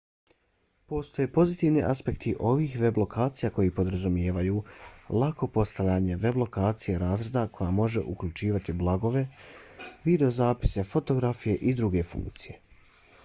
postoje pozitivni aspekti ovih web lokacija koji podrazumijevaju lako postavljanje web lokacije razreda koja može uključivati blogove videozapise fotografije i druge funkcije